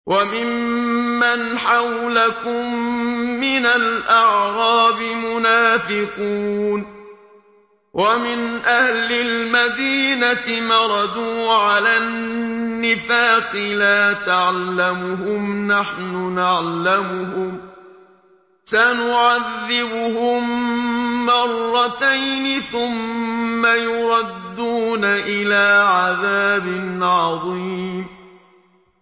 وَمِمَّنْ حَوْلَكُم مِّنَ الْأَعْرَابِ مُنَافِقُونَ ۖ وَمِنْ أَهْلِ الْمَدِينَةِ ۖ مَرَدُوا عَلَى النِّفَاقِ لَا تَعْلَمُهُمْ ۖ نَحْنُ نَعْلَمُهُمْ ۚ سَنُعَذِّبُهُم مَّرَّتَيْنِ ثُمَّ يُرَدُّونَ إِلَىٰ عَذَابٍ عَظِيمٍ